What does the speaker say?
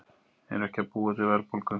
Eru ekki að búa til verðbólgu